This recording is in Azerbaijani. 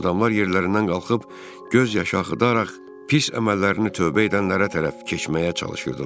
Adamlar yerlərindən qalxıb göz yaşı axıdaraq pis əməllərini tövbə edənlərə tərəf keçməyə çalışırdılar.